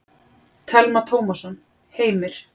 Telma Tómasson: Heimir?